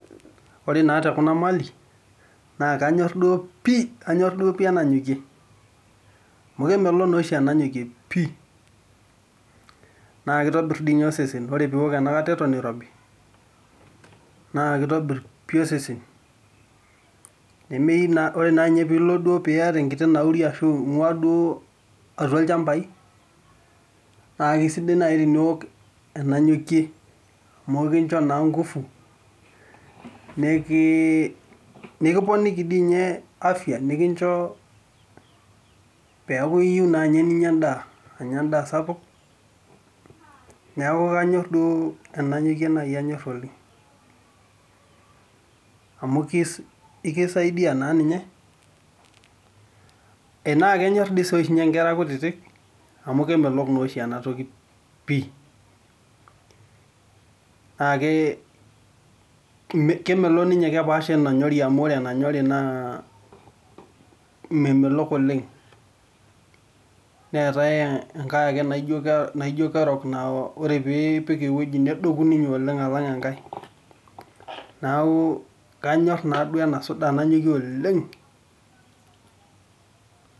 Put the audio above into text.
Ore naa te kuna mali naa kanyorr duo pii, kanyorr duo pii enanyokie amu kemelok naa oshi enanyokie pii naa keitobirr dii ninye osesen, ore pee iwk ena kata eton eirobi naa keitobirr pii osesen, ore ninye pee elo ninye niyata enkiti nauri aashu inguaa duo atua ilchamabai naa keisidai duo teniwok enanyokie amuuu enkincho naa ngufu, nikiponiki dii ninye afya nikincho peeki iyieu naa ninye ninya enda, anya endaa sapuk, neeku kanyorr duo enanyokie naaji anyorr oleng amu ekisaidia naa ninye naa kenyorr doi sii ninye nkera kutitk amu kemelok naa oshi ena toki pii, naaa kemelok ninye kepaasha wenanyori amu ore enanyori naa memelok oleng, neetaye enake ake naijo kerok naa ore pee ipik ewueji nedoku ninyeoleng alang enkae neeku kanyorr naaduo ena soda nanyokie oleng.